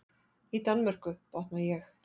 Í Danmörku, botna ég.